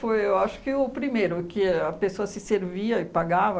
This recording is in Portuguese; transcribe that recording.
Foi eu acho que o primeiro que a pessoa se servia e pagava.